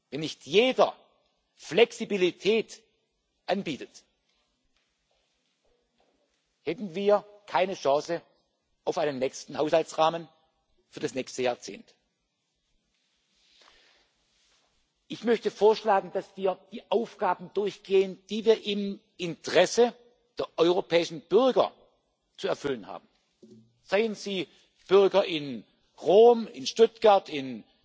Wenn nicht jeder Flexibilität anbieten würde, hätten wir keine Chance auf einen nächsten Haushaltsrahmen für das nächste Jahrzehnt. Ich möchte vorschlagen, dass wir die Aufgaben durchgehen, die wir im Interesse der europäischen Bürger zu erfüllen haben seien es Bürger in Rom, in Stuttgart, in